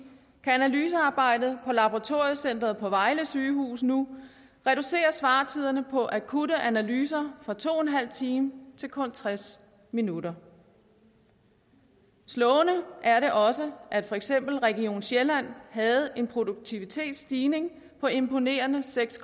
kan analysearbejdet på laboratoriecentret på vejle sygehus nu reducere svartiderne på akutte analyser fra to en halv time til kun tres minutter slående er det også at for eksempel region sjælland havde en produktivitetsstigning på imponerende seks